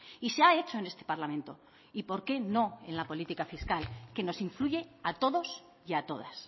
y se ha hecho en este parlamento y por qué no en la política fiscal que nos influye a todos y a todas